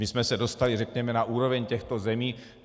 My jsme se dostali, řekněme, na úroveň těchto zemí.